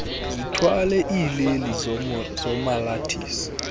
zithwale iileli zomalathisi